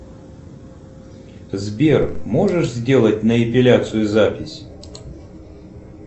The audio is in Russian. сбер можешь сделать на эпиляцию запись